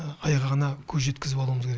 айғағына көз жеткізіп алуымыз керек